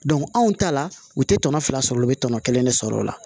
anw ta la u tɛ tɔnɔ fila sɔrɔ u bɛ tɔnɔ kelen de sɔrɔ o la